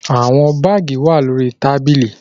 The shoes are in the carton